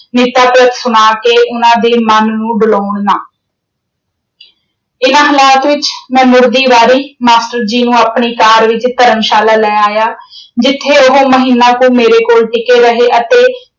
ਸੁਣਾ ਕੇ ਉਨ੍ਹਾਂ ਦੇ ਮਨ ਨੂੰ ਡਲਾਉਣ ਨਾ ਇਨ੍ਹਾਂ ਹਾਲਾਤ ਵਿੱਚ ਮੈਂ ਮੁੜਦੀ ਵਾਰੀ master ਜੀ ਨੂੰ ਆਪਣੀ ਕਾਰ ਵਿੱਚ ਧਰਮਸ਼ਾਲਾ ਲੈ ਆਇਆ ਜਿੱਥੇ ਉਹ ਮਹੀਨਾ ਕੁ ਮੇਰੇ ਕੋਲ ਟਿਕੇ ਰਹੇ ਅਤੇ